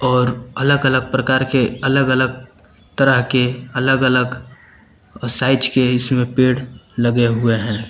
और अलग अलग प्रकार के अलग अलग तरह के अलग अलग साइज के इसमें पेड़ लगे हुए हैं।